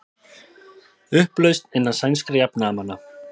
Upplausn innan sænskra jafnaðarmanna